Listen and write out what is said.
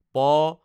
প